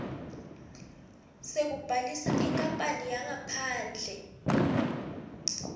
sekubhalisa inkapani yangaphandle